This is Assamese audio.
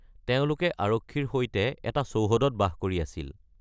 তেওঁলোকে আৰক্ষীৰ সৈতে এটা চৌহদত বাস কৰি আছিল।